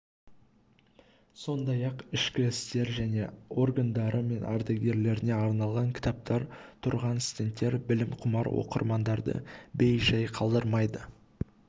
сондай-ақ ішкі істер және органдары мен ардагерлеріне арналған кітаптар тұрған стендтер білімқұмар оқырмандарды бей-жай қалдырмайды